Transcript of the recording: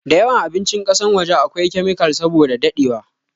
da yawan abincin kasan waje a kwai kemikal saboda dadewa